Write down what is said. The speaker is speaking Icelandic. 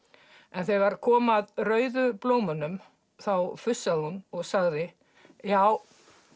en þegar kom að rauðu blómunum þá fussaði hún og sagði já